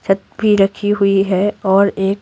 छत भी रखी हुई है और एक--